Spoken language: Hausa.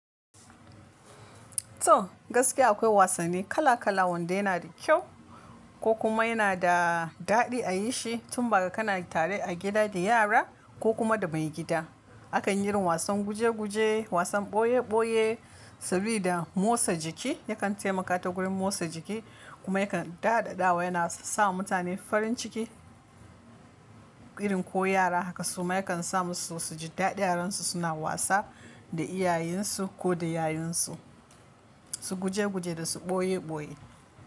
To gaskiya akwai wasanni kala kala wanda yana da kyau ko kuma yana da daɗi a yi shi tun ba kana tare a gida da yara ko kuma da maigida. A kan yi irin wasan guje guje, wasan boye boye sabida motsa jiki yakan taimaka ta gurin motsa jiki kuma yakan da daɗawa yana sa mutane farin ciki irin ko yara haka suma yakan sa musu suji daɗi aran su suna wasa da iyayensu ko da yayunsu su guje guje da su boye boye.